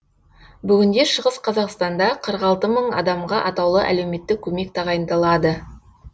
бүгінде шығыс қазақстанда қырық алты мың адамға атаулы әлеуметтік көмек тағайындалады